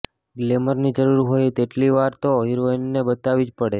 ગ્લેમરની જરૂર હોય એટલી વાર તો હિરોઈનને બતાવવી જ પડે